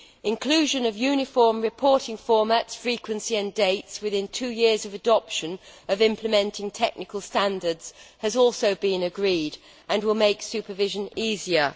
Inclusion of uniform reporting formats, frequency and dates within two years of adoption of implementing technical standards has also been agreed and will make supervision easier.